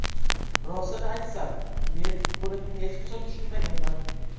Rostini aytsam, men buni hech qachon tushunmaganman.